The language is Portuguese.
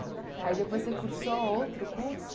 Aí depois você cursou outro curso?